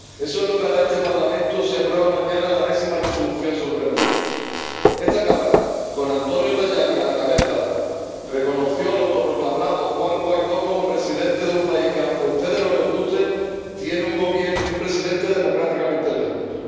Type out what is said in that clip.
Eso es lo que hará este Parlamento si aprueba mañana la enésima resolución sobre Venezuela. Esta cámara, con Antonio Tajani a la cabeza, reconoció al autoproclamado Juan Guaidó como presidente de un país que —aunque a ustedes no les guste— tiene un Gobierno y un presidente democráticamente elegidos.